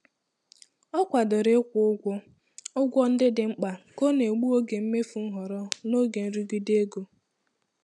Ọ kwadoro ịkwụ ụgwọ ụgwọ ndị dị mkpa ka ọ na-egbu oge mmefu nhọrọ n'oge nrụgide ego.